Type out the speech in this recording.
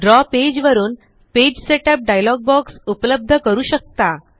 द्रव पेज वरून page setup dialog box उपलब्ध करू शकता